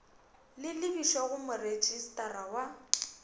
le lebišwe go moretšistara wa